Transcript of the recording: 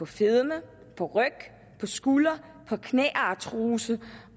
fedme ryg skuldre knæartrose